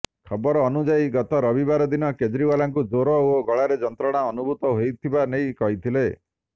ଖବର ଅନୁଯାୟୀ ଗତ ରବିବାର ଦିନ କେଜ୍ରିୱାଲଙ୍କୁ ଜ୍ୱର ଓ ଗଳାରେ ଯନ୍ତ୍ରଣା ଅନୁଭୂତ ହେଉଥିବା ନେଇ କହିଥିଲେ